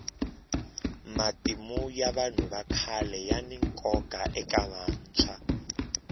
matimu ya vanhu vakhale yani nkoka eka vantshwa